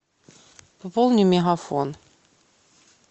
пополни мегафон